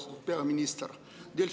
Austatud peaminister!